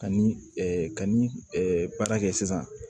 Ka ni ka ni baara kɛ sisan